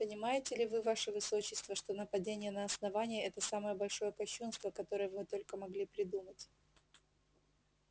понимаете ли вы ваше высочество что нападение на основание это самое большое кощунство которое вы только могли придумать